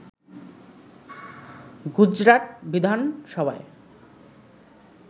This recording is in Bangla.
গুজরাট বিধানসভায়